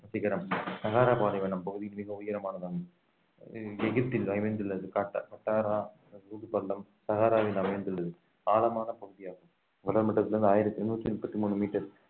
சிகரம் சகார பாலைவனம் பகுதி மிக உயரமானதாகும் எகிப்தில் அமைந்துள்ளது காட்ட~ கட்டாரா ஊதுப்பள்ளம் சகாராவில் அமைந்துள்ளது ஆழமான பகுதியாகும் கடல் மட்டத்தில் இருந்து ஆயிரத்தி எண்ணூத்தி முப்பத்தி மூணு மீட்டர்